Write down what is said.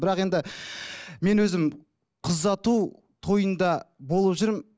бірақ енді мен өзім қыз ұзату тойында болып жүрмін